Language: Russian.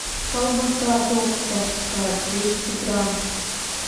колбаса докторская двести грамм